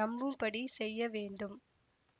நம்பும்படி செய்ய வேண்டும்